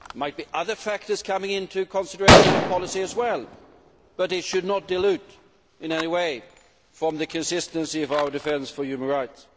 There might be other factors coming into consideration of policy as well, but it should not dilute in any way from the consistency of our defence for human rights.